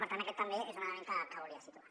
per tant aquest també és un element que volia situar